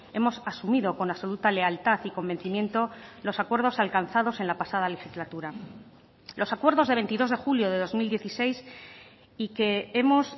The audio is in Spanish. hemos asumido con absoluta lealtad y convencimiento los acuerdos alcanzados en la pasada legislatura los acuerdos de veintidós de julio de dos mil dieciséis y que hemos